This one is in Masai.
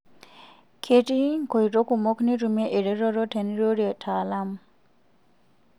Ketii nkoito kumok nitumie eretoto tinirorie lataalamu.